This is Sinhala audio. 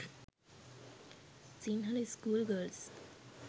sinhala school girls